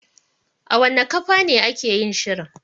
A wanna kafane ake yin shirin?